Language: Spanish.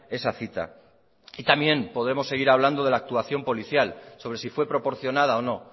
esa cita y también podremos seguir hablando de la actuación policial sobre si fue proporcionada o no